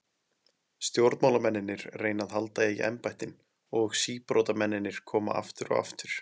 Stjórnmálamennirnir reyna að halda í embættin og síbrotamennirnir koma aftur og aftur.